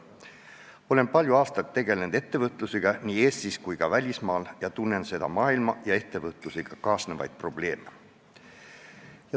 Olen palju aastaid tegelenud ettevõtlusega nii Eestis kui ka välismaal, seega tunnen seda maailma ja ettevõtlusega kaasnevaid probleeme.